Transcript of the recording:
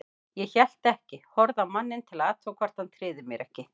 Ég hélt ekki, horfði á manninn til að athuga hvort hann tryði mér ekki.